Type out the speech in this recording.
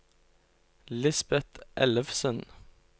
Lisbet Ellefsen